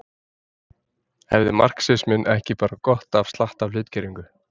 Hefði marxisminn ekki bara gott af slatta af hlutgervingu.